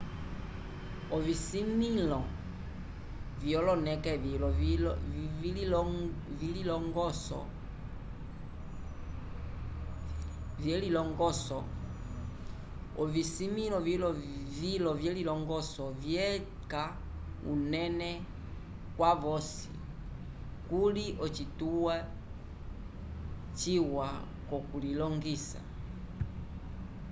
ovisimĩlo vyoloneke vilo vyelilongoso vyeca unene kwavosi kakuli ocituwa ciwa c'okulilongisa